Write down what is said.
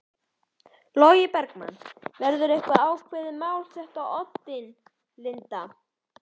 Logi Bergmann: Verður eitthvað ákveðið mál sett á oddinn Linda?